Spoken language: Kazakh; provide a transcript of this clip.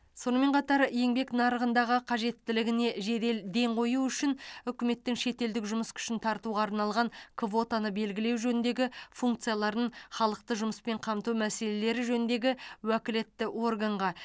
сонымен қатар еңбек нарығындағы қажеттілігіне жедел ден қою үшін үкіметтің шетелдік жұмыс күшін тартуға арналған квотаны белгілеу жөніндегі функцияларын халықты жұмыспен қамту мәселелері жөніндегі уәкілетті органға